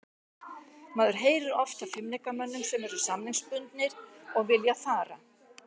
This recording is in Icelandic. Maður heyrir oft af leikmönnum sem eru samningsbundnir og vilja fara.